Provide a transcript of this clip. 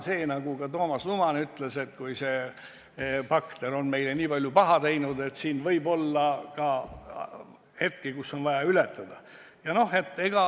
Nagu ka Toomas Luman ütles, et kui see bakter on meile nii palju paha teinud, siis meil võib olla ka hetki, kus on vaja seda ületada.